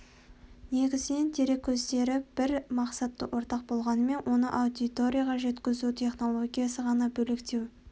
негізінен дереккөздері бір мақсаты ортақ болғанымен оны аудиторияға жеткізу технологиясы ғана бөлектеу